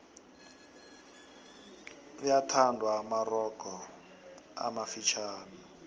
gyathandwa amarogo amafitjhani